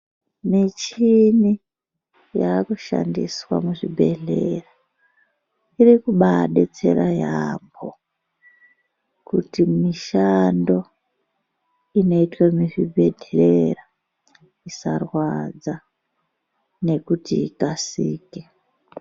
Michini yakushandiswa muzvibhedlera iri kubabetsera yaamho. Kuti mishando inotwe muzvibhedhlera isarwadza nekuti ikasike.